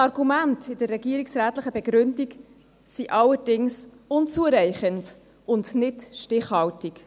Die Argumente in der regierungsrätlichen Begründung sind allerdings unzureichend und nicht stichhaltig.